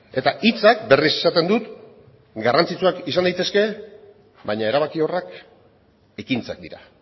eta hitzak berriz esaten dut garrantzitsuak izan daitezke baina erabakiorrak ekintzak dira